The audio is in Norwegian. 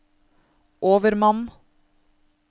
overmann